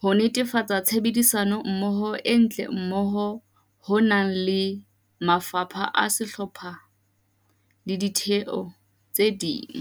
ho netefatsa tshebetsommoho e ntle moo ho nang le mafapha a sehlopha le ditheo tse ding.